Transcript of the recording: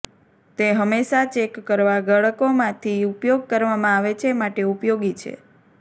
તે હંમેશા ચેક કરવા ગાળકોમાંથી ઉપયોગ કરવામાં આવે છે માટે ઉપયોગી છે